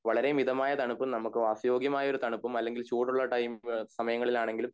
വളരെ മിതമായ തണുപ്പും നമ്മൾക്ക് വാസ്യയോഗ്യമായ ഒരു തണുപ്പും അല്ലെങ്കിൽ ചൂടുള്ള ടൈമ്മ് മ്മ് സമയങ്ങളിൽ ആണെങ്കിലും